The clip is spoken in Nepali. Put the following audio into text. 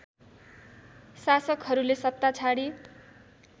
शासकहरूले सत्ता छाडी